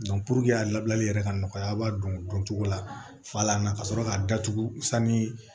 a labɛnni yɛrɛ ka nɔgɔya a b'a dɔn don cogo la fala na ka sɔrɔ k'a datugu sanni